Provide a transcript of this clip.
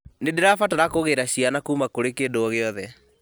nĩ ndĩrabatara kũgĩra ciana kuma kurĩ kĩndũ o gĩothe